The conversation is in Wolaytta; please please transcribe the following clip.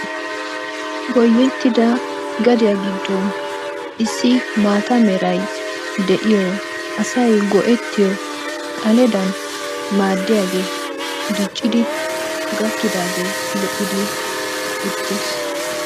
Goyettida gadiya giddon issi maata meray de'iyo asay go'ettiyo xaledan maaddiyagee diccidi gakkidage lo"idi uttis.